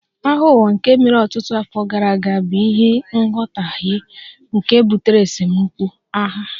Agha Ụwa nke mere ọtụtụ afọ gara aga bụ n'ihi nghọtahie nke butere esemokwu (agha)